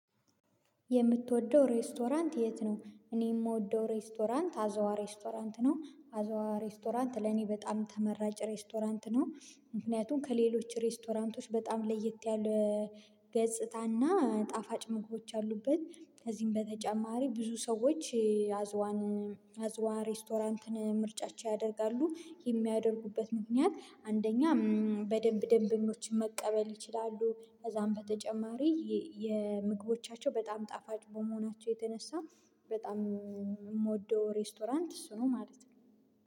የምትወደው ሬስቶራንት የት ነው? እኔ የምወደው ሬስቶራንት አዘዋ ሬስቶራንት ነው አዘዋ ሬስቶራንት ለኔ በጣም ተመራጭ ሬስቶራንት ነው። ምክንያቱም ከሌሎች ሬስቶራንቶች በጣም ለየት ያለ ገጽታና ጣፋጭ መግቦች ያሉበት ከዚህም በተጨማሪ ብዙ ሰዎች አዝዋንን አዝዋ ሬስቶራንትን ምርጫቸው ያደርጋሉ የሚያደርጉበት ምክንያት አንደኛ በደንብ ደንበኞችን መቀበል ይችላሉ። ከዛም በተጨማሪ የምግቦቻቸው በጣም ጣፋጭ በመሆናቸው የተነሳ በጣም የምወደው ሬስቶራንት እሱ ነው ማለት ነው